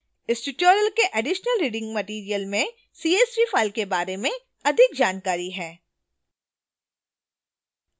इस tutorial के additional reading material में csv file के बारे में अधिक जानकारी है